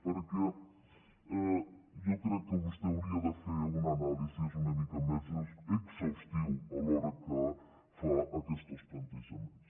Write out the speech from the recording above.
perquè jo crec que vostè hauria de fer una anàlisi una mica més exhaustiva a l’hora que fa aquests plantejaments